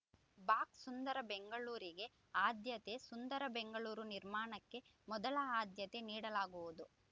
box ಸುಂದರ ಬೆಂಗಳೂರಿಗೆ ಆದ್ಯತೆ ಸುಂದರ ಬೆಂಗಳೂರು ನಿರ್ಮಾಣಕ್ಕೆ ಮೊದಲು ಆದ್ಯತೆ ನೀಡಲಾಗುವುದು